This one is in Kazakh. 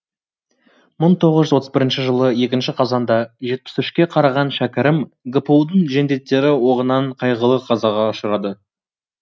мың тоғыз жүз отыз бірінші жылы екінші қазанда жетіс үшке қараған шәкәрім гпу дың жендеттері оғынан қайғылы қазаға ұшырады